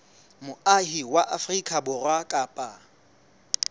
moahi wa afrika borwa kapa